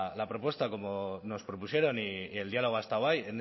la propuesta como nos propusieron y el diálogo ha estado ahí